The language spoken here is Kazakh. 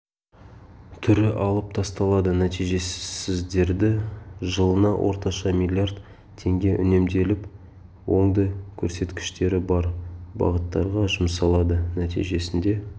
түрі алып тасталады нәтижесіздері жылына орташа миллиард теңге үнемделіп оңды көрсеткіштері бар бағыттарға жұмсалады нәтижесінде